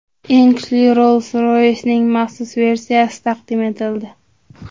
Eng kuchli Rolls-Royce’ning maxsus versiyasi taqdim etildi.